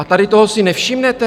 A tady toho si nevšimnete?